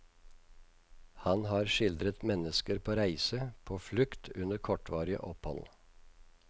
Han har skildret mennesker på reise, på flukt, under kortvarige opphold.